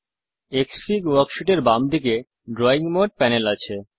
ক্সফিগ worksheet এর বাম দিকে ড্রয়িং মোড প্যানেল আছে